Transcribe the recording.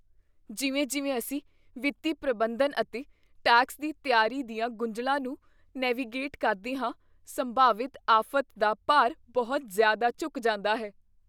ਜਿਵੇਂ ਜਿਵੇਂ ਅਸੀਂ ਵਿੱਤੀ ਪ੍ਰਬੰਧਨ ਅਤੇ ਟੈਕਸ ਦੀ ਤਿਆਰੀ ਦੀਆਂ ਗੁੰਝਲਾਂ ਨੂੰ ਨੇਵੀਗੇਟ ਕਰਦੇ ਹਾਂ, ਸੰਭਾਵਿਤ ਆਫ਼਼ਤ ਦਾ ਭਾਰ ਬਹੁਤ ਜ਼ਿਆਦਾ ਝੁਕ ਜਾਂਦਾ ਹੈ